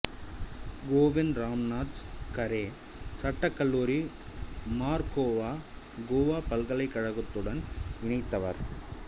கோவிந்த் ராம்நாத் கரே சட்டக் கல்லூரி மார்கோவா கோவா பல்கலைக்கழகத்துடன் இணைந்தவர்